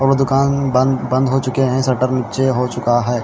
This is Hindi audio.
और दुकान बंद बंद हो चुके है शटर निचे हो चूका है।